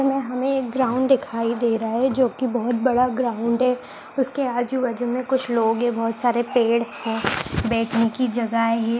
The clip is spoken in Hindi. हमें हमें एक ग्राउंड दिखाई दे रहा है जो की बहोत बड़ा ग्राउंड है उसके आजू-बाजू में कुछ लोग है बहोत सारे पेड़ है बैठने की जगह है।